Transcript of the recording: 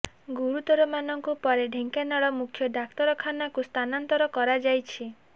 ଗୁରୁତରମାନଙ୍କୁ ପରେ ଢ଼େଙ୍କାନାଳ ମୁଖ୍ୟ ଡାକ୍ତର ଖାନାକୁ ସ୍ଥାନାନ୍ତର କରାଯାଇଛି